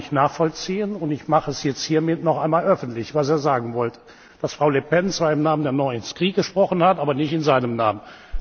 Das kann ich nachvollziehen, und ich mache es hiermit noch einmal öffentlich, was er sagen wollte dass Frau Le Pen zwar im Namen der Fraktionslosen gesprochen hat, aber nicht in seinem Namen.